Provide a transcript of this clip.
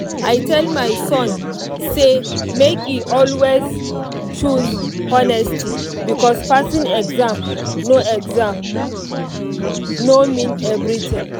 i tell my son say make e always choose honesty because passing exam no exam no mean everything.